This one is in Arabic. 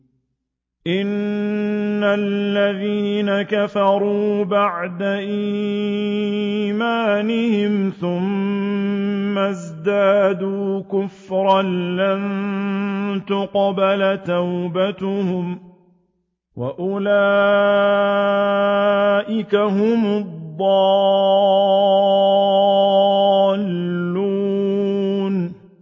إِنَّ الَّذِينَ كَفَرُوا بَعْدَ إِيمَانِهِمْ ثُمَّ ازْدَادُوا كُفْرًا لَّن تُقْبَلَ تَوْبَتُهُمْ وَأُولَٰئِكَ هُمُ الضَّالُّونَ